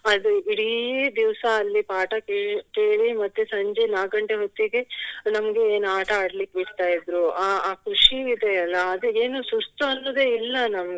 ಅದೇ ಇಡೀ ದಿವಸ ಅಲ್ಲಿ ಪಾಠ ಕೆ~ ಕೇಳಿ ಮತ್ತೆ ಸಂಜೆ ನಾಕ್ ಗಂಟೆ ಹೊತ್ತಿಗೆ ನಮ್ಗೆ ಏನ್ ಆಟ ಆಡ್ಲಿಕ್ಕೆ ಬಿಡ್ತಾ ಇದ್ರು ಅಹ್ ಅಹ್ ಖುಷಿ ಇದೆ ಅಲ್ಲ ಅದು ಏನು ಸುಸ್ತನ್ನುವುದೇ ಇಲ್ಲ ನಮ್ಗೆ